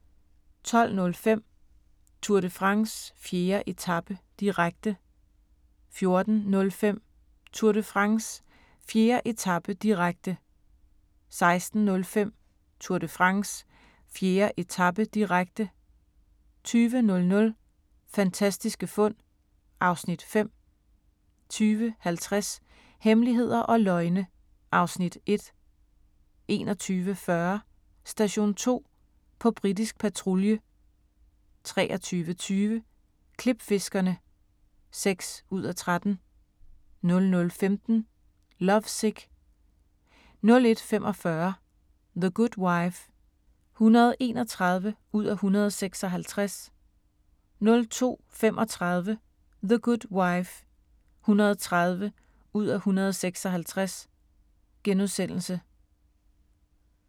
12:05: Tour de France: 4. etape, direkte 14:05: Tour de France: 4. etape, direkte 16:05: Tour de France: 4. etape, direkte 20:00: Fantastiske fund (Afs. 5) 20:50: Hemmeligheder og løgne (Afs. 1) 21:40: Station 2: På britisk patrulje 23:20: Klipfiskerne (6:13) 00:15: Lovesick 01:45: The Good Wife (131:156) 02:35: The Good Wife (130:156)*